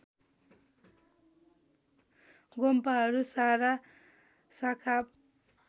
गोम्पाहरू सारा सखाप